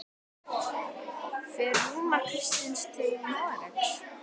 Fer Rúnar Kristins til Noregs?